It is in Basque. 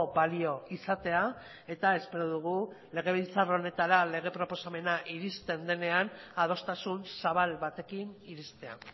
balio izatea eta espero dugu legebiltzar honetara lege proposamena iristen denean adostasun zabal batekin iristea